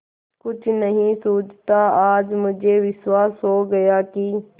कुछ नहीं सूझता आज मुझे विश्वास हो गया कि